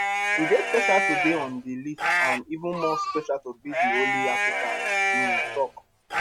e dey special to dey on di list and even more special to be di only african im tok